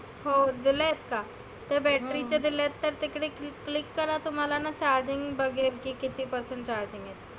हो दिलयत का? ते battery चं दिलंय तर तिकडे click करा तुम्हाला ना charging बघेन किती percent charge आहे.